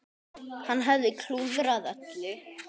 Hann hafði klúðrað öllu.